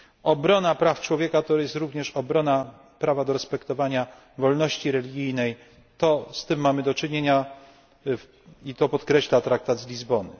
Obrona praw człowieka to również obrona prawa do respektowania wolności religijnej, z tym mamy do czynienia i to podkreśla Traktat z Lizbony.